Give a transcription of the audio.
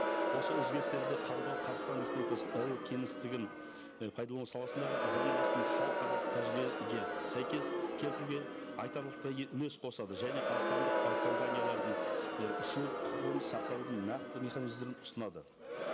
осы өзгерістерді қабылдау қазақстан республикасының әуе кеңістігін і пайдалану саласындағы заңнамасын халықаралық сәйкес келтіруге айтарлықтай үлес қосады және қазақстандық әуекомпаниялардың і ұшу құқығын сақтаудың нақты механизмдерін ұсынады